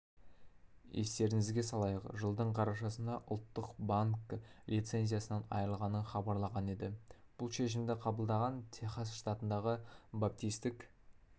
естеріңізге салайық жылдың қарашасында ұлттық банкі лицензиясынан айырылғанын хабарлаған еді бұл шешімді қабылдаған техас штатындағы баптистік